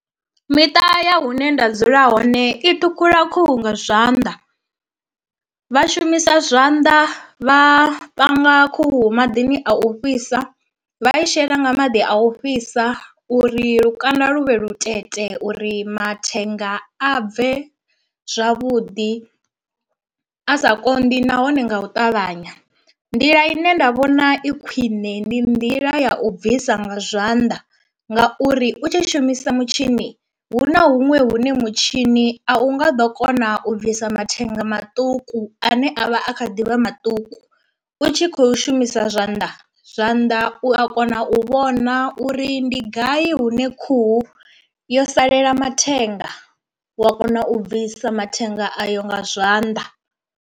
Miṱa ya hune nda dzula hone i ṱhukhula khuhu nga zwanḓa vha shumisa zwanḓa vha panga khuhu maḓini a u fhisa, vha i shela nga maḓi a u fhisa uri lukanda lu vhe lu vhutete uri mathenga a bve zwavhuḓi a sa konḓi nahone nga u ṱavhanya. Nḓila ine nda vhona i khwiṋe ndi nḓila ya u bvisa nga zwanḓa ngauri u tshi shumisa mutshini hu na huṅwe hune mutshini a u nga ḓo kona u bvisa mathenga maṱuku ane a vha a kha ḓivha maṱuku u tshi khou shumisa zwanḓa zwanḓa u a kona u vhona uri ndi gai hune khuhu yo salela mathenga wa kona u bvisa mathenga ayo nga zwanḓa.